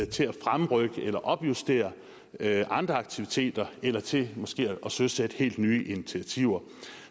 til at fremrykke eller opjustere andre aktiviteter eller til måske at søsætte helt nye initiativer